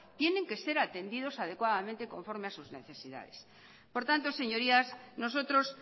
tienen que ser atendidos adecuadamente conforme a sus necesidades por tanto señorías nosotros